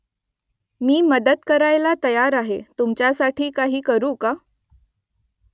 मी मदत करायला तयार आहे तुमच्यासाठी काही करू का ?